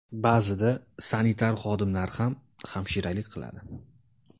Ba’zida sanitar xodimlar ham hamshiralik qiladi.